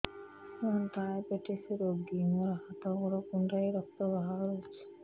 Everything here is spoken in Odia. ମୁ ଡାଏବେଟିସ ରୋଗୀ ମୋର ହାତ ଗୋଡ଼ କୁଣ୍ଡାଇ ରକ୍ତ ବାହାରୁଚି